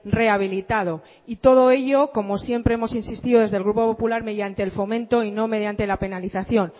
rehabilitado y todo ello como siempre hemos insistido desde el grupo popular mediante el fomento y no mediante la penalización